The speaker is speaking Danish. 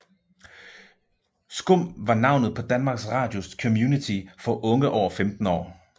SKUM var navnet på Danmarks Radios community for unge over 15 år